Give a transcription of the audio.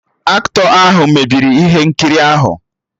Aktọ ahụ mebiri ihe nkiri ahụ